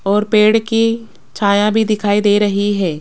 और पेड़ की छाया भी दिखाई दे रही है।